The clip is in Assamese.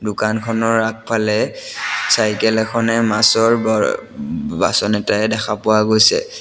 দোকানখনৰ আগফালে চাইকেল এখনে মাছৰ ভৰ বাচন এটাৰে দেখা পোৱা গৈছে।